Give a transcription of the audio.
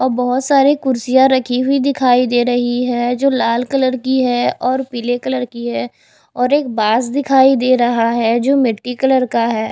अ बहोत सारे कुर्सियां रखी हुई दिखाई दे रही है जो लाल कलर की है और पीले कलर की है और एक बांस दिखाई दे रहा है जो मिट्टी कलर का है।